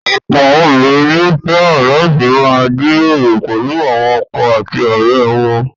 Ọ̀pọ̀ obìnrin ni ó fẹ́ràn láti máa jíròrò pẹ̀lú àwọn ọkọ àti ọ̀rẹ́ wọn.